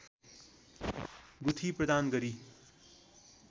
गुठी प्रदान गरी